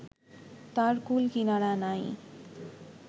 তার কূল-কিনারা নাই